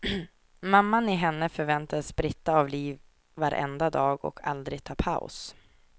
Mamman i henne förväntades spritta av liv varenda dag, och aldrig ta paus.